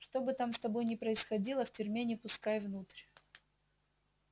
что бы там с тобой ни происходило в тюрьме не пускай внутрь